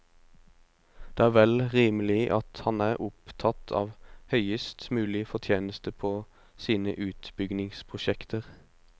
Det er vel rimelig at han er opptatt av høyest mulig fortjeneste på sine utbyggingsprosjekter.